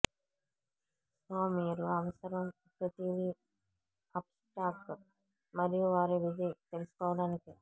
so మీరు అవసరం ప్రతిదీ అప్ స్టాక్ మరియు వారి విధి తెలుసుకోవడానికి